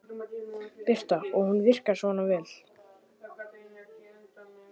Birta: Og hún virkar svona vel?